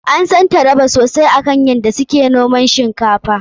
An san Taraba sosai akan yadda su ke noman shinkafa.